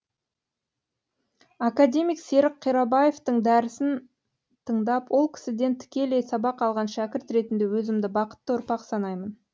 академик серік қирабаевтың дәрісін тыңдап ол кісіден тікелей сабақ алған шәкірт ретінде өзімді бақытты ұрпақ санаймын